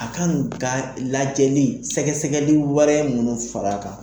A ka ni ka lajɛli sɛgɛsɛgɛli warɛ minnu far'a kan.